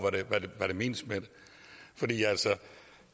hvad der menes med det